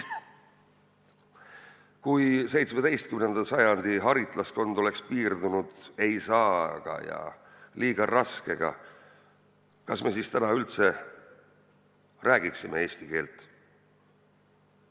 Kui 17. sajandi haritlaskond oleks piirdunud vastustega "Ei saa!" ja "Liiga raske!", siis kas me täna üldse räägiksime eesti keelt?